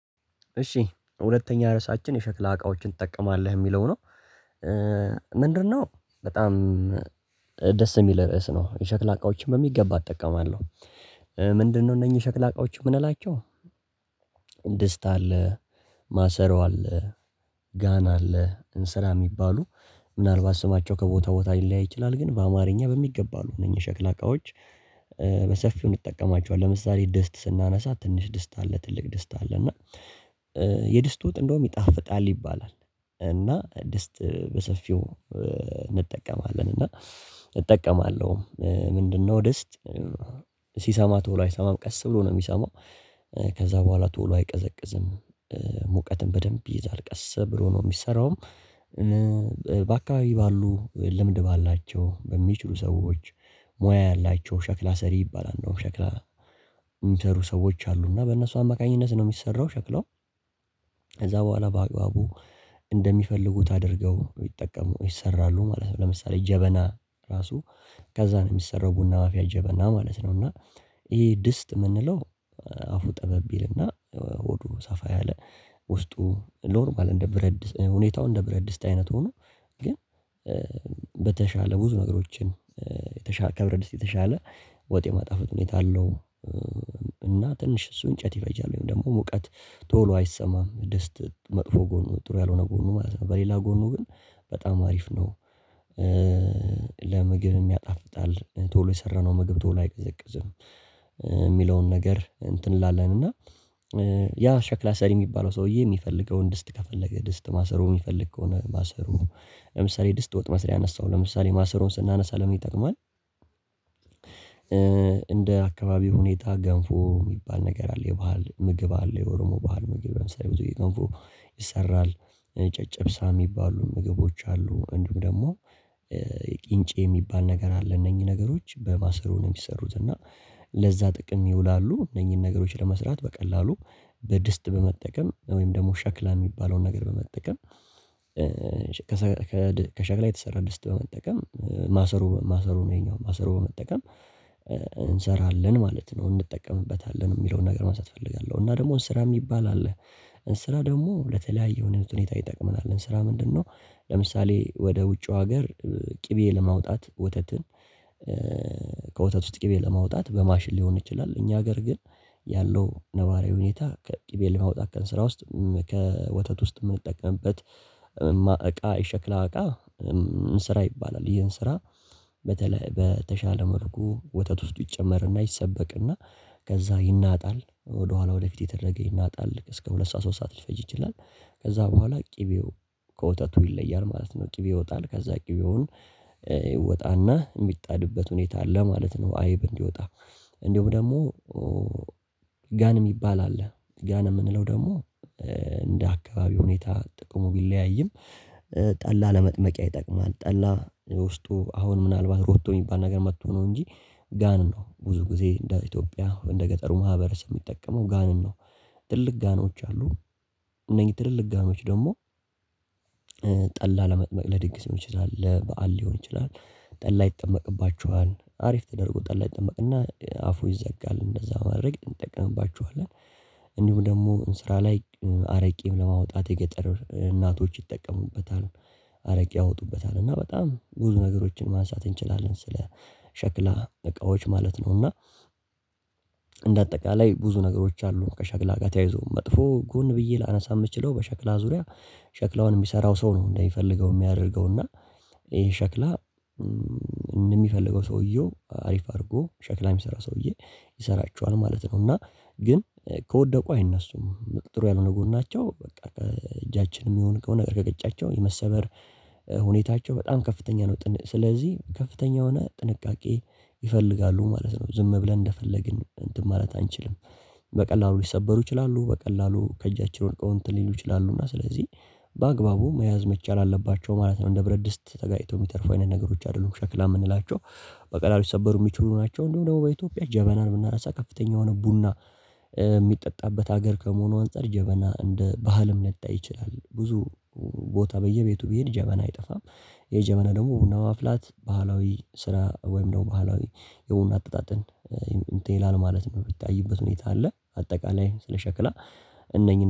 እሺ ሁለተኛ ርዕሳችን የሸክላ እቃዎችን ትጠቀማለህ የሚለው ነው? ምንድነው በጣም ደስ የሚል ርዕስ ነው የሸክላ እቃዎችን በሚገባ እጠቀማለሁ። ምንድነው እነኚህ የሸክላ እቃዎች የምንላቸው? ድስት አለ ማሰሮ አለ ጋን አለ እንስራ የሚባሉ ምናልባት ስማቸው ከቦታ ቦታ ሊለያይ ይችላል። ግን በአማርኛ በሚገባ አሉ እነኚህ የሸክላ እቃዎች። በሰፊው እንጠቀማቸዋለን ለምሳሌ ድስት ስናነሳ ትንሽ ድስት አለ ትልቅ ድስት አለ እና የድስት ወጥ እንደውም ይጣፍጣል ይባላል። እና ድስት በሰፊው እንጠቀማለን እና እጠቀማለሁ። ምንድነው? ድስት ሲሰማ ቶሎ አይሰማም ቀስ ብሎ ነው የሚሰማው። ከዛ በኋላ ቶሎ አይቀዘቅዝም። ሙቀትን በደንብ ይይዛል ቀሰ ብሎ ነው የሚሰራውም። በአካባቢ ባሉ ልምድ ባላቸው በሚችሉ ሰዎች ሙያ ያላቸው ሸክላ ሰሪ ይባላል ነው። ሸክላ የሚሰሩ ሰዎች አሉ እና በእነሱ አማካኝነት ነው የሚሰራው ሸክላው። ከዛ በኋላ በአግባቡ እንደሚፈልጉት አድርገው ይጠቀሙ ይሰራሉ ማለት ነው። ለምሳሌ ጀበና ራሱ ከዛ ነው የሚሰራው ቡና ማፍያ ጀበና ማለት ነው። እና ይሄ ድስት የምንለው አፉ ጠበብ ይልና ሆዱ ሰፋ ያለ ውስጡ ኖርማል እንደ ብረት ድስት ሁኔታው እንደ ብረት ድስት አይነት ሆኖ ግን በተሻለ ብዙ ነገሮችን የተሻለ ከብረት ድስት የተሻለ ወጥ የማጣፈጥ ሁኔታ አለው። እና ትንሽ እሱ እንጨት ይፈጃል ወይም ደግሞ ሙቀት ቶሎ አይሰማም ድስት መጥፎ ጎኑ ጥሩ ያልሆነ ጎኑ ማለት ነው በሌላ ጎኑ ግን በጣም አሪፍ ነው። ለምግብም ያጣፍጣል ቶሎ የሰራነው ምግብ ቶሎ አይቀዘቅዝም። የሚለውን ነገር እንትን እንላለን እና ያ ሸክላ ሰሪ የሚባለው ሰውዬ የሚፈልገውን ድስት ከፈለገ ድስት ማሰሮ የሚፈልግ ከሆነ ለምሳሌ ድስት ወጥ መስሪያ አነሳሁ ለምሳሌ ማሰሮን ስናነሳ ለምን ይጠቅማል? እንደ አካባቢው ሁኔታ ገንፎ የሚባል ነገር አለ የባህል ምግብ አለ የኦሮሞ ባህል ምግብ ለምሳሌ ብዙ ጊዜ ገንፎ ይሰራል ጨጨብሳ የሚባሉ ምግቦች አሉ። እንዲሁም ደግሞ ቂንጬ የሚባል ነገር አለ እነኚህ ነገሮች በማሰሮ ነው የሚሰሩት እና ለዛ ጥቅም ይውላሉ እነኚህን ነገሮች ለመስራት በቀላሉ በድስት በመጠቀም ወይም ደግሞ ሸክላ የሚባለውን ነገር በመጠቀም። ከሸክላ የተሰራ ድስት በመጠቀም ማሰሮ ማሰሮ ነው ይሄኛው ማሰሮ በመጠቀም እንሰራለን ማለት ነው። እንጠቀምበታለን የሚለውን ነገር ማንሳት እፈልጋለሁ። እና ደግሞ እንስራ የሚባል አለ እንስራ ደግሞ ለተለያዩ ሁኔታ ይጠቅመናል እንስራ ምንድነው? ለምሳሌ ወደ ውጭው ሀገር ቅቤ ለማውጣት ወተትን ከወተት ውስጥ ቅቤ ለማውጣት በማሽን ሊሆን ይችላል። እኛ ሀገር ግን ያለው ነባራዊ ሁኔታ ከቅቤ ለማውጣት ከእንስራ ውስጥ ከወተት ውስጥ የምንጠቀምበት እቃ የሸክላ እቃ እንስራ ይባላል። ይህ እንስራ በተሻለ መልኩ ወተት ውስጥ ይጨመርና ይሰበቅና ከዛ ይናጣል ወደኋላ ወደፊት እየተደረገ ይናጣል እስከ ሁለት ሰዓት ሶስት ሰዓት ሊፈጅ ይችላል። ከዛ በኋላ ቅቤው ከወተቱ ይለያል ማለት ነው ቅቤው ይወጣል ከዛ ቅቤውን ይወጣና የሚጣድበት ሁኔታ አለ ማለት ነው። አይብ እንዲወጣ እንዲሁም ደግሞ ጋን የሚባል አለ ጋን የምንለው ደግሞ እንደ አካባቢው ሁኔታ ጥቅሙ ቢለያይም ጠላ ለመጥመቂያ ይጠቅማል። ጠላ ውስጡ አሁን ምናልባት ሮቶ የሚባል ነገር መጥቶ ነው እንጂ ጋን ነው ብዙ ጊዜ እንደ ኢትዮጵያ እንደ ገጠሩ ማህበረሰብ የሚጠቀመው ጋንን ነው። ትልልቅ ጋኖች አሉ እነዚህ ትልልቅ ጋኖች ደግሞ ጠላ ለመጥመቅ ለድግስ ሊሆን ይችላል ለበአል ሊሆን ይችላል። ጠላ ይጠመቅባቸዋል አሪፍ ተደርጎ ጠላ ይጠመቅና አፉ ይዘጋል እንደዛ በማድረግ እንጠቅምባቸዋለን። እንዲሁም ደግሞ እንስራ ላይ አረቄም ለማውጣት የገጠር እናቶች ይጠቀሙበታል አረቄ ያወጡበታል እና በጣም ብዙ ነገሮችን ማንሳት እንችላለን ስለ ሸክላ እቃዎች ማለት ነው። እና እንደ አጠቃላይ ብዙ ነገሮች አሉ ከሸክላ ጋር ተያይዞ መጥፎ ጎን ብዬ ላነሳ የምችለው በሸክላ ዙሪያ ሸክላውን የሚሰራው ሰው ነው እንደሚፈልገው የሚያደርገው እና ይሄን ሸክላ እንደሚፈልገው ሰውየው አሪፍ አድርጎ ሸክላ የሚሰራ ሰውዬ ይሰራቸዋል ማለት ነው። እና ግን ከወደቁ አይነሱም ጥሩ ያልሆነ ጎናቸው በቃ ከእጃችንም ይሁን ከሆነ ነገር ከገጫቸው የመሰበር ሁኔታቸው በጣም ከፍተኛ ነው። ስለዚህ ከፍተኛ ሆነ ጥንቃቄ ይፈልጋሉ ማለት ነው። ዝም ብለን እንደፈለግን እንትን ማለት አንችልም። በቀላሉ ሊሰበሩ ይችላሉ በቀላሉ ከእጃችን ወድቀው እንትን ሊሉ ይችላሉ እና ስለዚህ በአግባቡ መያዝ መቻል አለባቸው ማለት ነው። እንደ ብረት ድስት ተጋጭተው የሚተርፉ አይነት ነገሮች አይደሉም ሸክላ የምንላቸው በቀላሉ ሊሰበሩ የሚችሉ ናቸው። እንዲሁም ደግሞ በኢትዮጵያ ጀበናን ብናነሳ ከፍተኛ የሆነ ቡና የሚጠጣበት ሀገር ከመሆኑ አንፃር ጀበና እንደ ባህልም ሊታይ ይችላል ብዙ ቦታ በየቤቱ ብሄድ ጀበና አይጠፋም። የጀበና ደግሞ ቡና ማፍላት ባህላዊ ስራ ወይም ደግሞ ባህላዊ የቡና አጠጣጥን እንትን ይላል ማለት ነው። የሚታይበት ሁኔታ አለ አጠቃላይ ስለ ሸክላ እነኚህ